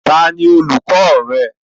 Tani olùkọ rẹ?